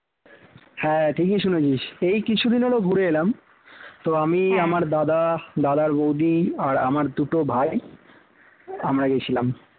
হ্যাঁ ঠিকই শুনছি এই কিছুদিন হোল ঘুরে এলাম তো আমি আমার দাদা দাদার বৌদি আর আমার দুটো ভাই আমরা গিয়েছিলাম